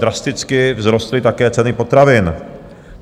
Drasticky vzrostly také ceny potravin.